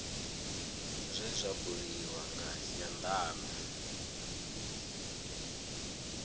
zwe zwa buliwa nga nyandano